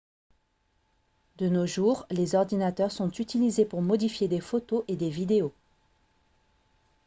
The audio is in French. de nos jours les ordinateurs sont utilisés pour modifier des photos et des vidéos